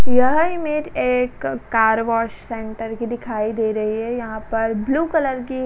यह इमेज एक car wash centre की दिखाई दे रही है। यहां पर ब्लू कलर की --